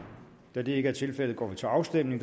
da det ikke er tilfældet går vi til afstemning